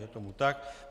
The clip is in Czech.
Je tomu tak.